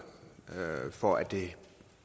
for at det